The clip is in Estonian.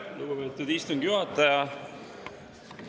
Aitäh, lugupeetud istungi juhataja!